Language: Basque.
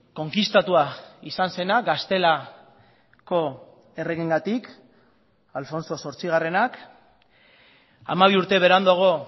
konkistatua izan zena gaztelako erregeengatik alfonso zortzigarrenak hamabi urte beranduago